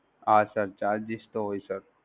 હા Sir charges તો હોય Sir.